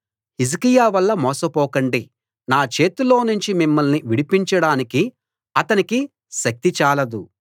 హిజ్కియా వల్ల మోసపోకండి నా చేతిలోనుంచి మిమ్మల్ని విడిపించడానికి అతనికి శక్తి చాలదు